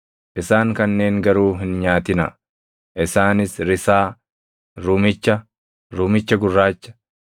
Isaan kanneen garuu hin nyaatinaa; isaanis risaa, rumicha, rumicha gurraacha,